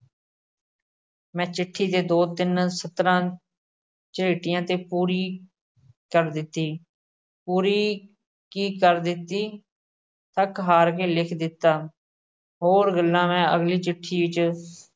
ਮੈਂ ਚਿੱਠੀ 'ਤੇ ਦੋ ਤਿੰਨ ਸਤਰਾਂ ਝਰੀਟੀਆਂ ਤੇ ਪੂਰੀ ਕਰ ਦਿੱਤੀ, ਪੂਰੀ ਕੀ ਕਰ ਦਿੱਤੀ, ਥੱਕ-ਹਾਰ ਕੇ ਲਿਖ ਦਿੱਤਾ, ਹੋਰ ਗੱਲਾਂ ਮੈਂ ਅਗਲੀ ਚਿੱਠੀ 'ਚ